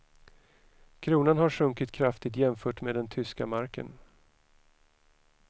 Kronan har sjunkit kraftigt jämfört med den tyska marken.